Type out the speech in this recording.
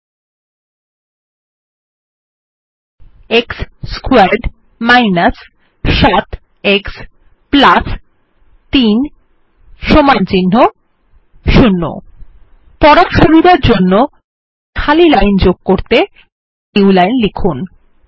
x squared minus 7 x plus 3 0 পড়ার সুবিধার জন্য খালি লাইন যোগ করতে নিউলাইন লিখুন